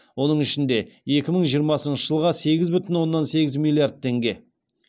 оның ішінде екі мың жиырмасыншы жылға сегіз бүтін оннан сегіз миллиард теңге